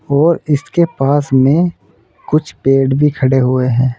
और इसके पास में कुछ पेड़ भी खड़े हुए हैं।